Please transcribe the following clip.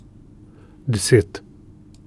Deset.